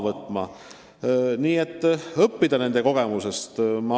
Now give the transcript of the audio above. Tasub õppida nende kogemusest.